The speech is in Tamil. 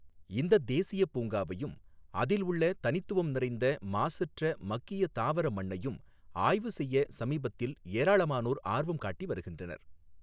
இந்தத் தேசியப் பூங்காவையும் அதில் உள்ள தனித்துவம் நிறைந்த மாசற்ற மக்கிய தாவர மண்ணையும் ஆய்வு செய்ய சமீபத்தில் ஏராளமானோர் ஆர்வம் காட்டி வருகின்றனர்.